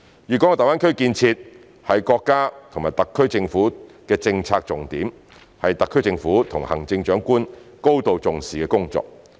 粵港澳大灣區建設是國家及特區政府的政策重點，是特區政府及行政長官高度重視的工作。